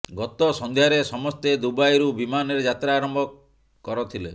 ଗତ ସଂଧ୍ୟାରେ ସମସ୍ତେ ଦୁବାଇରୁ ବିମାନରେ ଯାତ୍ରା ଆରମ୍ଭ କରଥିଲେ